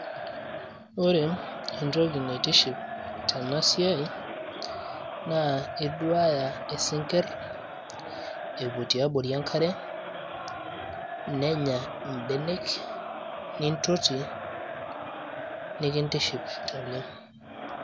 ore entoki naitiship tena siai naa iduaya isinkirr epuo tiabori enkare nenya imbenek nintoti nikintiship oleng.